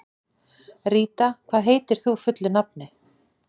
Ríta, hvað heitir þú fullu nafni?